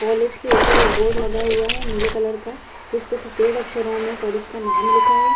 College के ऊपर एक बोर्ड लगा हुआ है नीले कलर का जीसपे सफ़ेद अक्षरों में कॉलेज का नाम लिखा है।